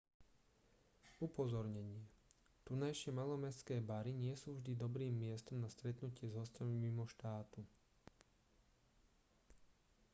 upozornenie tunajšie malomestské bary nie sú vždy dobrým miestom na stretnutie s hosťami mimo štátu